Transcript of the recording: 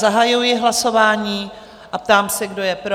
Zahajuji hlasování a ptám se, kdo je pro?